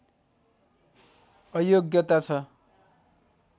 अयोग्यता छ